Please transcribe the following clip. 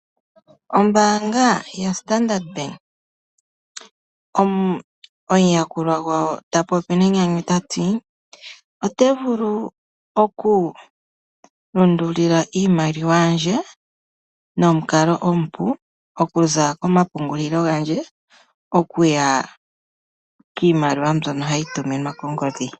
Ombaanga yaStandard Bank, omuyakulwa gwayo ta popi nenyanyu tati: “Ote vulu oku lundulila iimaliwa yandje nomukalo omupu, okuza komapungulilo gandje okuya kiimaliwa mbyono hayi tuminwa kongodhi.”